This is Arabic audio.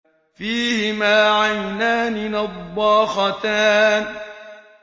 فِيهِمَا عَيْنَانِ نَضَّاخَتَانِ